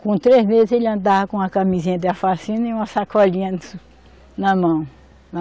Com três meses, ele andava com a camisinha da e uma sacolinha na mão.